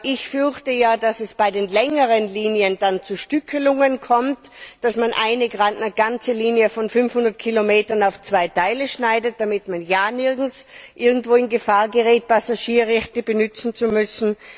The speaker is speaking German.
Ich fürchte ja, dass es bei den längeren Linien dann zu Stückelungen kommt, dass man eine ganze Linie von 500 Kilometern in zwei Teile schneidet, damit man ja nicht irgendwo in Gefahr gerät, Passagierrechte anwenden zu müssen.